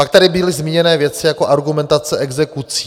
Pak tady byly zmíněny věci jako argumentace exekucí.